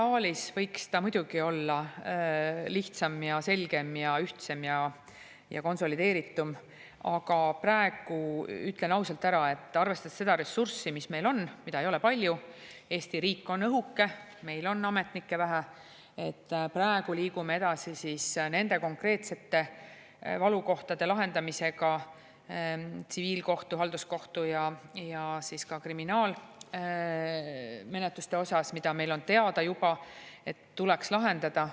Ideaalis võiks ta muidugi olla lihtsam ja selgem ja ühtsem ja konsolideeritum, aga praegu, ütlen ausalt ära, et arvestades seda ressurssi, mis meil on – seda ei ole palju, Eesti riik on õhuke, meil on ametnikke vähe –, liigume edasi nende konkreetsete valukohtade lahendamisega tsiviilkohtu, halduskohtu ja ka kriminaalmenetluste osas, mille puhul meil on juba teada, et need tuleks lahendada.